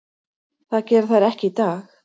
Það gera þær ekki í dag.